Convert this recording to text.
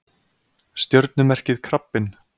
Stjörnumerkið krabbinn.